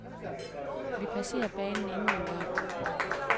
Vi passerer banen endnu engang.